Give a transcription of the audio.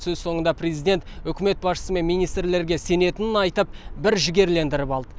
сөз соңында президент үкімет басшысы мен министрлерге сенетінін айтып бір жігерлендіріп алды